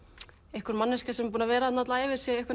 einhver manneskja sem er búin að vera þarna alla ævi sé